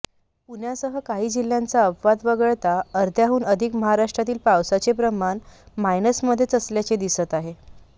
पुण्यासह काही जिल्हय़ांचा अपवाद वगळता अर्ध्याहून अधिक महाराष्ट्रातील पावसाचे प्रमाण मायनसमध्येच असल्याचे दिसत आहे